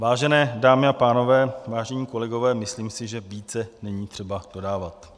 Vážené dámy a pánové, vážení kolegové, myslím si, že více není třeba dodávat.